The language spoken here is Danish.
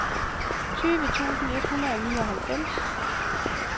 tyve tusind et hundrede og nioghalvfems